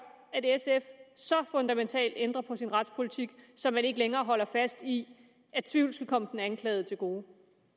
at sf så fundamentalt ændrer på sin retspolitik så man ikke længere holder fast i at tvivlen skal komme den anklagede til gode